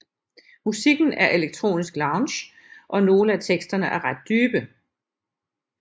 Musikken er elektronisk lounge og nogle af teksterne er ret dybe